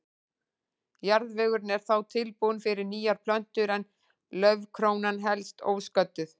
Jarðvegurinn er þá tilbúinn fyrir nýjar plöntur en laufkrónan helst ósködduð.